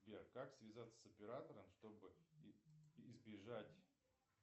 сбер как связаться с оператором чтобы избежать